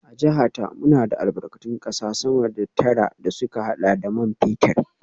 A jiha ta, muna da albarkatun kasa sama da tara da suka hada da man fetur